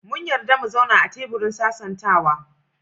Mun yarda mu zauna a kan teburin sasantawa.